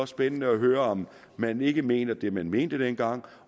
spændende at høre om man ikke mener det man mente dengang